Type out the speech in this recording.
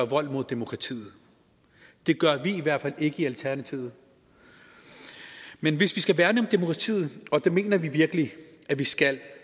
vold mod demokratiet det gør vi i hvert fald ikke i alternativet men hvis vi skal værne om demokratiet og det mener vi virkelig vi skal